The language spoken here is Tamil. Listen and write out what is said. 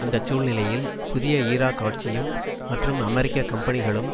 அந்த சூழ்நிலையில் புதிய ஈராக் ஆட்சியும் மற்றும் அமெரிக்க கம்பெனிகளும்